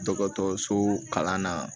Dɔgɔtɔrɔso kalan na